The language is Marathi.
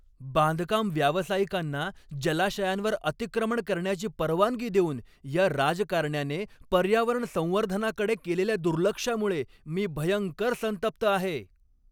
बांधकाम व्यावसायिकांना जलाशयांवर अतिक्रमण करण्याची परवानगी देऊन या राजकारण्याने पर्यावरण संवर्धनाकडे केलेल्या दुर्लक्षामुळे मी भयंकर संतप्त आहे.